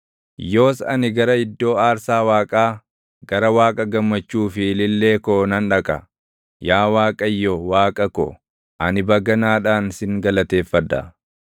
Yoos ani gara iddoo aarsaa Waaqaa, gara Waaqa gammachuu fi ilillee koo nan dhaqa. Yaa Waaqayyo, Waaqa ko, ani baganaadhaan sin galateeffadha.